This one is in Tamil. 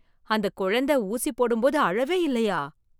அந்த குழந்தை ஊசி போடும் போது அழுகவே இல்லையா!